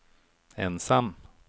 ensam